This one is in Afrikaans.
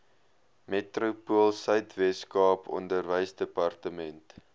metropoolsuid weskaap onderwysdepartement